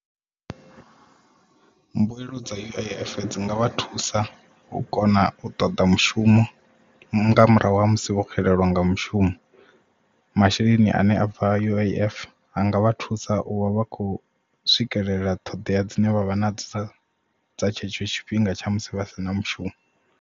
Mbuelo dza U_I_F dzinga vha thusa u kona u ṱoḓa mushumo mu nga murahu ha musi vho xelelwa nga mushumo masheleni ane a bva U_I_F anga vha thusa u vha vha khou swikelela ṱhoḓea dzine vha vha nadzo dza tshetsho tshifhinga tsha musi vha si na mushumo.